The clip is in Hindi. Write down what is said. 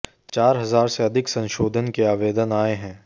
चार हजार से अधिक संशोधन के आवेदन आए हैं